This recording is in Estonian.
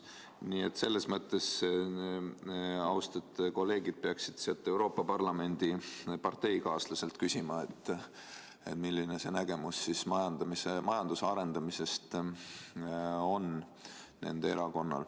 Nii et selles mõttes peaksid austatud kolleegid oma Euroopa Parlamendis olevalt parteikaaslaselt üle küsima, milline nende erakonna nägemus majanduse arendamisest ikkagi on.